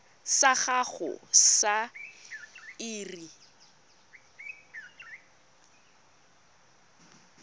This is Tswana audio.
sa gago sa irp it